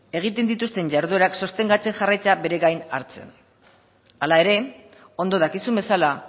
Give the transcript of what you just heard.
egiten dituzten jarduerak sostengatzen jarraitzea bere gain hartzen hala ere ondo dakizun bezala